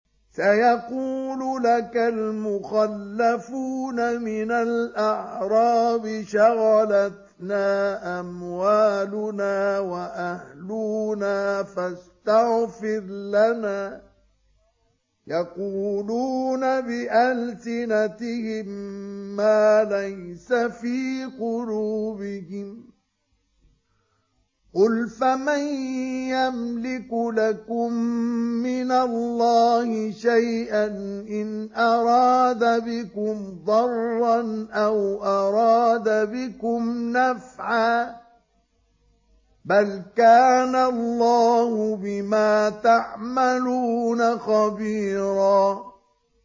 سَيَقُولُ لَكَ الْمُخَلَّفُونَ مِنَ الْأَعْرَابِ شَغَلَتْنَا أَمْوَالُنَا وَأَهْلُونَا فَاسْتَغْفِرْ لَنَا ۚ يَقُولُونَ بِأَلْسِنَتِهِم مَّا لَيْسَ فِي قُلُوبِهِمْ ۚ قُلْ فَمَن يَمْلِكُ لَكُم مِّنَ اللَّهِ شَيْئًا إِنْ أَرَادَ بِكُمْ ضَرًّا أَوْ أَرَادَ بِكُمْ نَفْعًا ۚ بَلْ كَانَ اللَّهُ بِمَا تَعْمَلُونَ خَبِيرًا